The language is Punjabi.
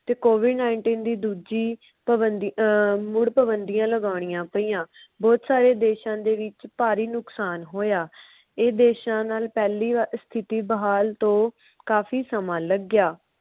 ਤੇ covid nineteen ਦੀ ਦੂਜੀ ਪਬੰਦੀ ਅਹ ਮੁੜ ਪਾਬੰਦੀਆਂ ਲਗੋਨੀਆ ਪਾਇਆ ਬੋਹਤ ਸਾਰੇ ਦੇਸ਼ਾਂ ਦੇ ਵਿੱਚ ਭਾਰੀ ਨੁਕਸਾਨ ਹੋਇਆ। ਇਹ ਦੇਸ਼ਾਂ ਨਾਲ ਪਹਿਲੀ ਸਥਿਤੀ ਬਹਾਲ ਤੋਂ ਕਾਫੀ ਸਮਾਂ ਲੱਗਿਆ।